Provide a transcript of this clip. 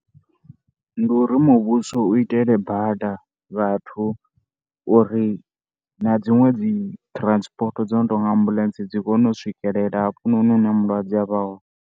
Ndi uri muvhuso u itele bada vhathu uri na dziṅwe dzi transport dzo no tou nga ambulance dzi kone u swikelela hafhanoni hune mulwadze a vha hone.